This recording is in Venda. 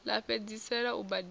ḽa u fhedzisela u badela